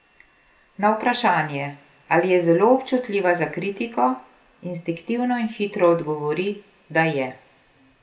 Na vprašanje, ali je zelo občutljiva za kritiko, instinktivno in hitro odgovori, da je.